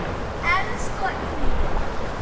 Elsku Inga.